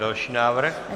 Další návrh.